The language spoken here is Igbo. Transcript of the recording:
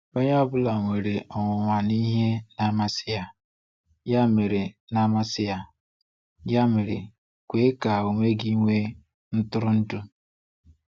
Onye ọ bụla nwere onwunwa na ihe na-amasi ya—ya mere na-amasi ya—ya mere kwe ka onwe gị nwee ntụrụndụ.